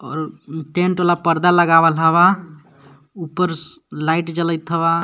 और उ- टेंट वाला परदा लगावल हव उपर स-लाइट जले थव.